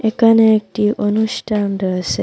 একানে একটি অনুষ্ঠান রয়েসে।